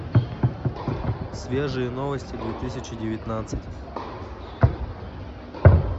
свежие новости две тысячи девятнадцать